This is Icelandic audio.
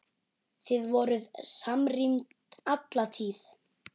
Þið voruð samrýnd alla tíð.